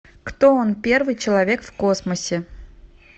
кто он первый человек в космосе